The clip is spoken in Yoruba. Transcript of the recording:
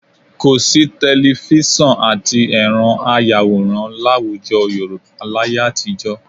Kò sí tẹlifísàn àti ẹ̀rọ ayàwòrán láwùjọ Yorùbá láyé àtijọ́